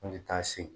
An bɛ taa se